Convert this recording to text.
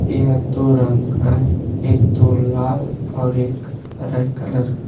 यह दो रंग का है एक तो लाल और एक हरे कलर का।